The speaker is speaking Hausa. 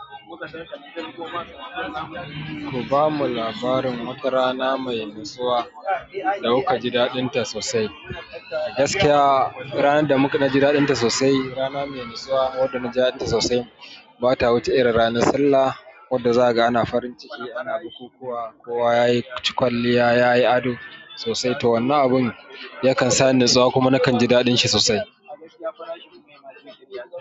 Ku ba mu labarin wata rana mai natsuwa da kuka ji daɗinta sosai. Gaskiya ya rana da muka ji daɗinta sosai, rana mai natsuwa wadda na ji daɗinta sosai ba ta wuce irin ranar Sallah wadda za ka ga ana farin ciki, ana bukukuwa, kowa ya yi ci kwalliya, ya yi ado sosai. To wannan abun ya kan sa ni natsuwa kuma na kan ji daɗin shi sosai.